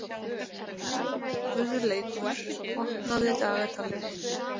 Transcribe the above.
Guðleikur, opnaðu dagatalið mitt.